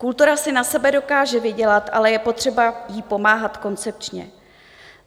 Kultura si na sebe dokáže vydělat, ale je potřeba jí pomáhat koncepčně.